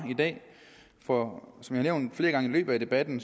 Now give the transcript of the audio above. i dag for som jeg flere gange i løbet af debatten